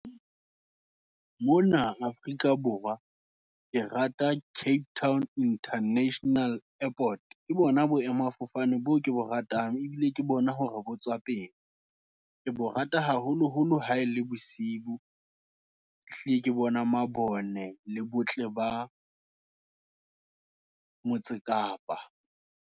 Mona Afrika Borwa, ke rata Cape Town International Airport, ke bona boemafofane, boo ke bo ratang, ebile ke bona hore bo tswela pele. Ke bo rata haholo holo, ha e le bosiu, ehlile ke bona mabone, le botle ba motse Kapa.